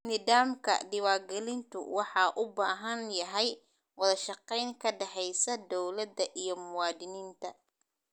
Nidaamka diwaangelintu waxa uu u baahan yahay wada shaqayn ka dhaxaysa dawladda iyo muwaadiniinta.